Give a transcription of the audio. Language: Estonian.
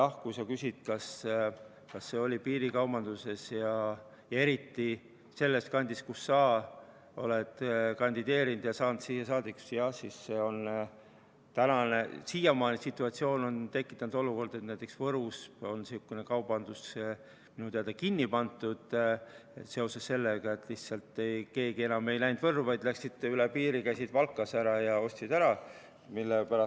Kui sa küsid, kas see piirikaubandust, eriti selles kandis, kus sa oled kandideerinud ja saanud siia saadikuks, siis jah, tänane situatsioon on tekitanud olukorra, et näiteks Võrus on sihukene kaubandus minu teada kinni pandud, kuna keegi enam ei läinud Võrru, vaid mindi üle piiri, käidi Valkas ära ja osteti ära.